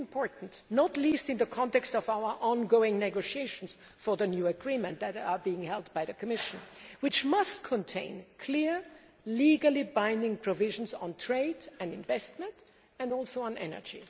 This is important, not least in the context of the ongoing negotiations for the new agreement which are being held by the Commission and which must contain clear, legally binding provisions on trade and investment and also on energy.